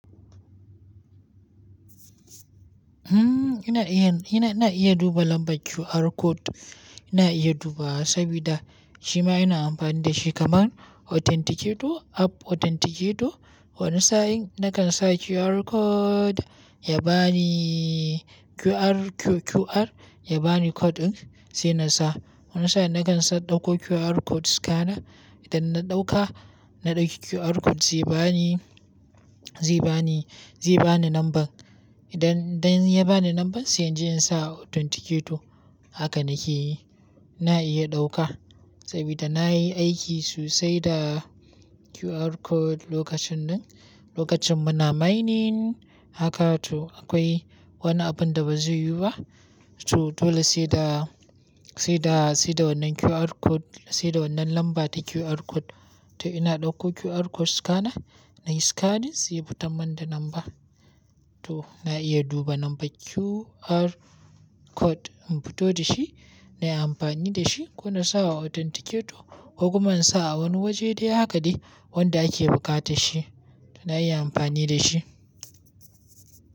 Hmm ina iya, ina, ina iya duba lambar QR code. Ina iya dubaws sabida shima ina amfani da shi kamar authenticate, app authenticate. Wani sa'in na kan sa QR code ya ba ni QR, Q-QR ya ba ni code ɗin sai na sa. Wani sa'in na kan sa ɗauko QR code scanner. Idan na ɗauka, na ɗauki QR code zai ba ni, zai ba ni, zai ba ni lambar. Idan, idan ya ba ni lambar sai in je in sa authenticate. Haka nake yi. Ina iya ɗauka sabida na yi aiki so sai da QR code lokacin ɗin. Lokacin muna mining haka to akwai wani abun da ba zai yiwu ba. To dole sai da, sai da, sai da wannan QR code, sai da wannan lamba ta QR code. To ina ɗauko QR code scanner nayi scan ɗin sai ya fitar min da lamba. To ina iya duba lambar QR code in fito da shi na yi amfani da shi ko na sa a authenticate ko kuma in sa a wani waje dai haka dai wanda ake buƙata shi. To na iya amfani da shi.